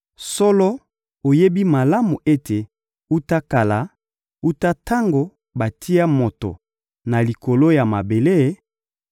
Solo, oyebi malamu ete wuta kala, wuta tango batia moto na likolo ya mabele,